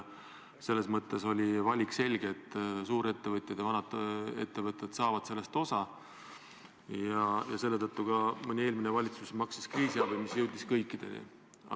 Selles mõttes oli valik selge, et vaid suurettevõtjad ja vanad ettevõtted saavad sellest osa, ja selle tõttu mõni eelmine valitsus maksis kriisiabi, mis jõudis kõikideni.